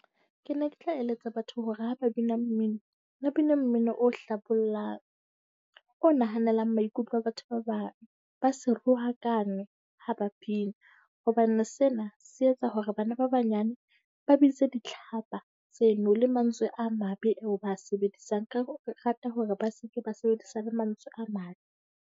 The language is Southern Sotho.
Ke ne ke tla eletsa batho hore ha ba bina mmino, ba bine mmino o hlabollang. O nahanelang maikutlo a batho ba bang. Ba se rohakane ha ba pina, hobane sena se etsa hore bana ba banyane ba bitse ditlhapa tseno le mantswe a mabe eo ba a sebedisang. Ka re rata hore ba se ke ba sebedisa le mantswe a mabe.